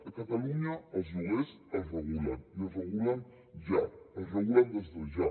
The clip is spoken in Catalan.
a catalunya els lloguers es regulen i es regulen ja es regulen des de ja